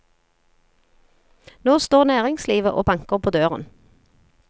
Nå står næringslivet og banker på døren.